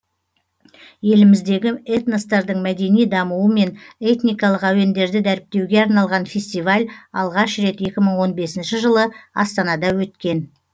еліміздегі этностардың мәдени дамуы мен этникалық әуендерді дәріптеуге арналған фестиваль алғаш рет екі мың он бесінші жылы астанада өткен